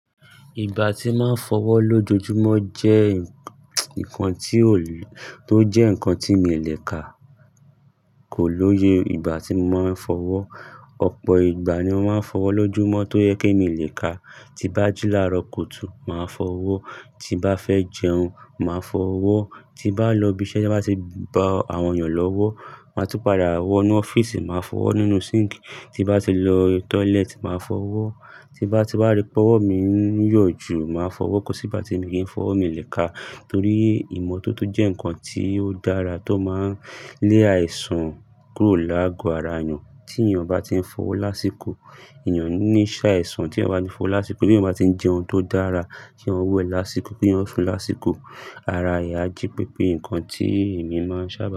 Ìgbà tí máa ń fọwọ́ lójoojúmọ́ jẹ́ ń kan tí ó lè tó jẹ́ ń kan tí mi lè ka kò lóye ìgbà tí mo máa ń fọwọ́. Ọ̀pọ̀ ìgbà ni mo máa ń fọwọ́ lójúmọ́ tó yẹ kí mi lè ka. Ti bá jila rọkùtù, màá fọwọ́. Ti bá fẹ́ jẹun, màá fọwọ́. Ti bá lọ ibi iṣẹ́, ti won bá ti bá àwọn èèyàn lówó, máa tún padà wọ inú ọ́fíìsì, màá fọwọ́ nínú síǹkì. Ti bá ti lọ tọ́lẹ́ẹ̀tì, màá fọwọ́. Ti bá ti bá ri pé ọwọ́ mi ń yọ̀ jù, màá fọwọ́. Kò sí ìgbà tí mo kii fọwọ́ mi lẹ́ka torí ìmo tótó jẹ́ ń kan tí ó dára tó máa ń lé àìsàn kúrò láago ara èèyàn. Tí èèyàn bá ti ń fọwọ́ lásìkò, èèyàn ní lè ṣe àìsàn. Tí èèyàn bá ti ń fọwọ́ lásìkò, bí èèyàn bá ti ń jẹun tó dára, kí eyan wẹ lásìkò kí wọ́n sún lásìkò. Ara èèyàn a jí pepé nǹkan tí èmi máa ń sábà.